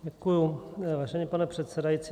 Děkuji, vážený pane předsedající.